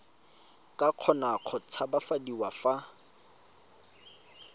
ka kgona go tshabafadiwa fa